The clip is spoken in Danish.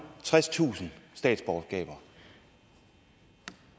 tredstusind statsborgerskaber